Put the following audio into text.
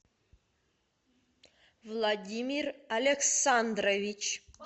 владимир александрович